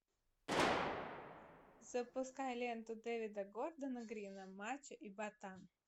запускай ленту дэвида гордона грина мачо и ботан